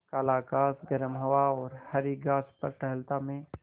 काला आकाश गर्म हवा और हरी घास पर टहलता मैं